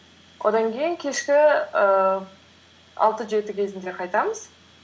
одан кейін кешкі ііі алты жеті кезінде қайтамыз